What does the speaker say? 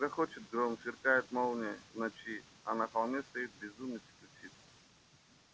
грохочет гром сверкает молния в ночи а на холме стоит безумец и кричит